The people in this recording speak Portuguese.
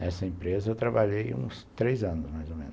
Nessa empresa eu trabalhei uns três anos, mais ou menos.